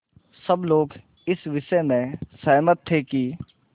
सब लोग इस विषय में सहमत थे कि